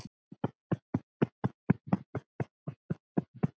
Síðasta erindið hljóðar svo